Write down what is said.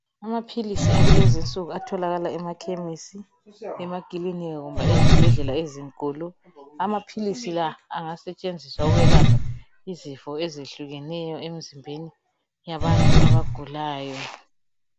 Amaphilisi akulezi nsuku atholakala emakhemisi emakilinika kumbe ezibhedlela ezinkulu amaphilisi la angasetshenziswa ukwelapha izifo ezehlukeneyo emzimbeni yabantu abagulayo.